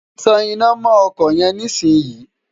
tan iná mọ́ ọkọ̀ yẹn nísìn yìí!